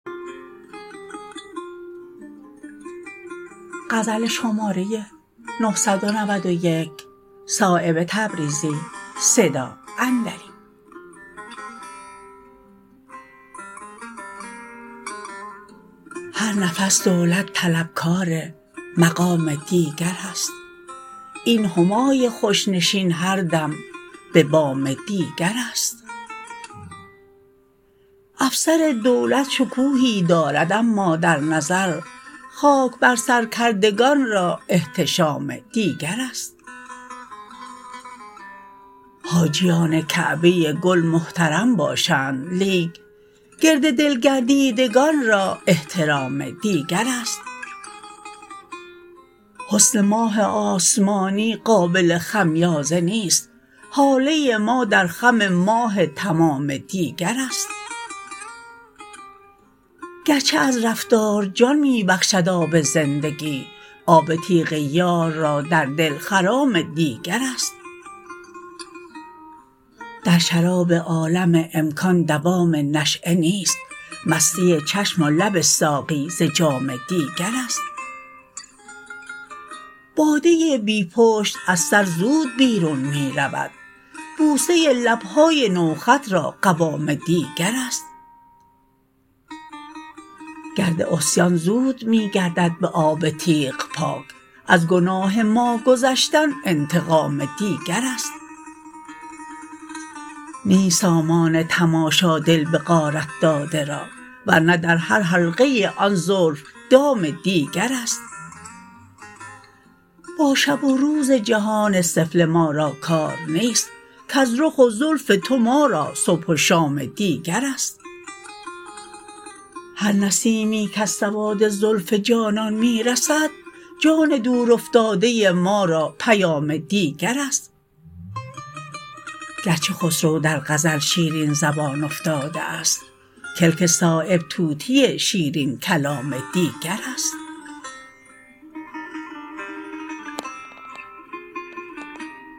هر نفس دولت طلبکار مقام دیگرست این همای خوش نشین هر دم به بام دیگرست افسر دولت شکوهی دارد اما در نظر خاک بر سر کردگان را احتشام دیگرست حاجیان کعبه گل محترم باشند لیک گرد دل گردیدگان را احترام دیگرست حسن ماه آسمانی قابل خمیازه نیست هاله ما در خم ماه تمام دیگرست گرچه از رفتار جان می بخشد آب زندگی آب تیغ یار را در دل خرام دیگرست در شراب عالم امکان دوام نشأه نیست مستی چشم و لب ساقی ز جام دیگرست باده بی پشت از سر زود بیرون می رود بوسه لبهای نوخط را قوام دیگرست گرد عصیان زود می گردد به آب تیغ پاک از گناه ما گذشتن انتقام دیگرست نیست سامان تماشا دل به غارت داده را ورنه در هر حلقه آن زلف دام دیگرست با شب و روز جهان سفله ما را کار نیست کز رخ و زلف تو ما را صبح و شام دیگرست هر نسیمی کز سواد زلف جانان می رسد جان دورافتاده ما را پیام دیگرست گرچه خسرو در غزل شیرین زبان افتاده است کلک صایب طوطی شیرین کلام دیگرست